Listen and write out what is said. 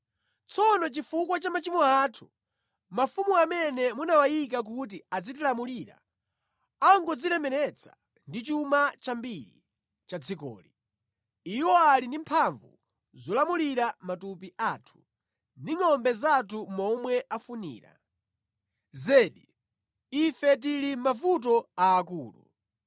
Tsono chifukwa cha machimo athu, mafumu amene munawayika kuti azitilamulira angodzilemeretsa ndi chuma chambiri cha dzikoli. Iwo ali ndi mphamvu zolamulira matupi athu ndi ngʼombe zathu momwe afunira. Zedi, ife tili mʼmavuto aakulu.”